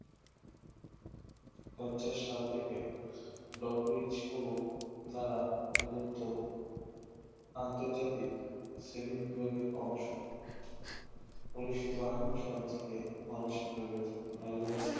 পঞ্চাশ সাল থেকে who দ্বারা প্রদত্ত আন্তর্জাতিক সেমি বিভাবিক অংশ উন্নিশশো বাহান্ন সাল থেকে মানসিক রোগের